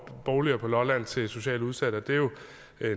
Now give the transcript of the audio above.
boliger på lolland til socialt udsatte det er jo